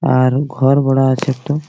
আর ঘর বড়া আছে একটো।